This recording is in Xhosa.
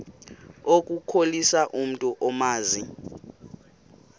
ukukhohlisa umntu omazi